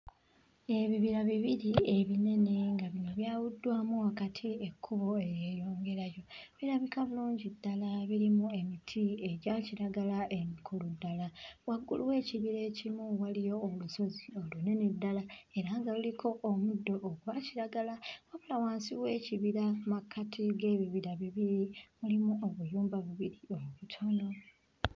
Ebibira bibiri ebinene nga bino byawuddwamu wakati ekkubo eryeyongerayo, birabika bulungi ddala birimu emiti egya kiragala emikulu ddala, waggulu w'ekibira ekimu waliyo olusozi olunene ddala era nga luliko omuddo ogwa kiragala wabula wansi w'ekibira mmakati w'ebibira bibiri mulimu obuyumba bubiri obutono.